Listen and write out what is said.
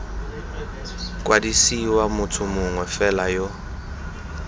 kwadisiwa motho mongwe fela yo